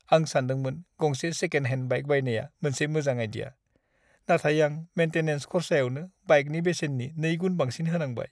आं सान्दोंमोन गंसे सेकेन्ड-हेन्ड बाइक बायनाया मोनसे मोजां आइडिया, नाथाय आं मेन्टेनेन्स खर्साआवनो बाइकनि बेसेननि नैगुन बांसिन होनांबाय।